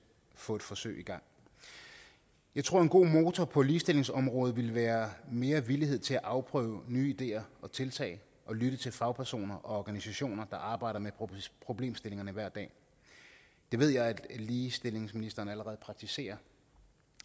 få et forsøg i gang jeg tror at en god motor på ligestillingsområdet ville være mere villighed til at afprøve nye ideer og tiltag og lytte til fagpersoner og organisationer der arbejder med problemstillingerne hver dag det ved jeg at ligestillingsministeren allerede praktiserer